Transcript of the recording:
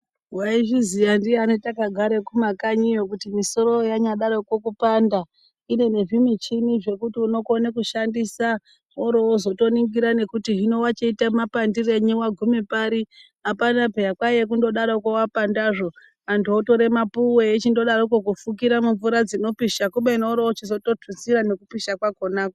Waizviziya ndiani takagare kumakanyiyo kuti misoro yanyadaroko kupanda ine nezvimichini zvekuti unokone kushandisa worozotoningira nekuti hino wachite mapandirenyi wagume pari hapana peya kwaiya kundodaroko wapandazvo antu otore mapuwe eichindodaroko kufukira mumvura dzinopisha kubeni worochitozotutsira nekupishakwo.